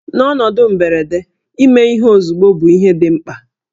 N'ọnọdụ mberede, ime ihe ozugbo bụ ihe dị mkpa